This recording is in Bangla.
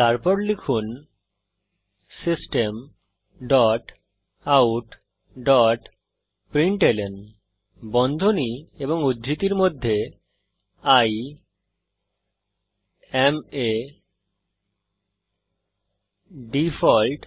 তারপর লিখুন system dot out dot println বন্ধনী এবং উদ্ধৃতির মধ্যে I এএম a ডিফল্ট